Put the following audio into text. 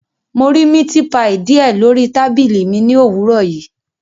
Mo ri miti paii diẹ lori tabili mi ni owurọ yii